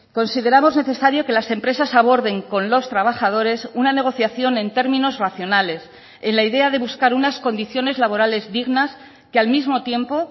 consideramos necesario que las empresas aborden con los trabajadores una negociación en términos racionales en la idea de buscar unas condiciones laborales dignas que al mismo tiempo